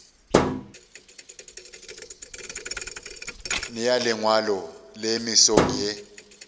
nea lengwalo le mesong ye